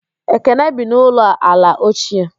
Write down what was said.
Ekene bi n'ụlọ ala ochie